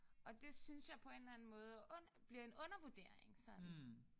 Og det synes jeg på en eller anden måde ond bliver en undervurdering sådan